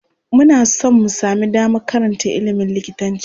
Muna son mu sami damar karanta iimin likitanci.